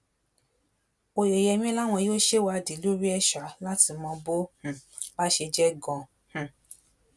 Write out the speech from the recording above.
oyeyèmí láwọn yóò ṣèwádìí lórí ẹ̀ ṣá láti mọ bó um bá ṣe jẹ́ ganan um